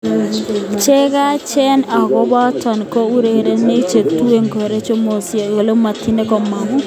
Cheyachen akobochoto ko urerenik che tuen kokorogtoe mososiek, kole matindo kamanut.